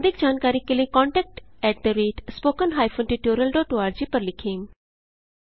अधिक जानकारी के लिए contactspoken tutorialorg पर लिखें